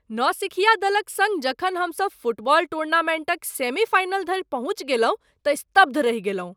नौसिखिया दलक सङ्ग जखन हमसब फुटबॉल टूर्नामेन्टक सेमी फाइनल धरि पहुँचि गेलहुँ तँ स्तब्ध रहि गेलहुँ।